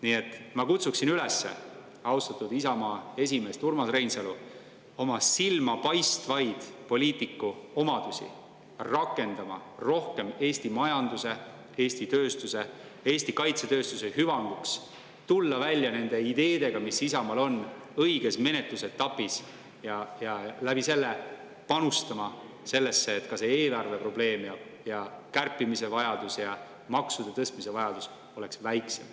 Nii et ma kutsuksin üles austatud Isamaa esimeest Urmas Reinsalu oma silmapaistvaid poliitikuomadusi rakendama rohkem Eesti majanduse, Eesti tööstuse, sealhulgas Eesti kaitsetööstuse hüvanguks ja tulema välja ideedega, mis Isamaal on, õiges menetlusetapis ning selle kaudu panustama sellesse, et ka eelarveprobleem, kärpimise vajadus ja maksude tõstmise vajadus oleks väiksem.